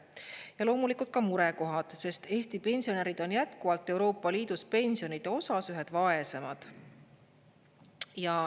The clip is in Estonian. Ja loomulikult on ka murekohad, sest Eesti pensionärid on jätkuvalt Euroopa Liidus pensionide osas ühed vaesemad.